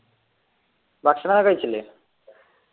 ഭക്ഷണോക്കെ കഴിച്ചില്ലേ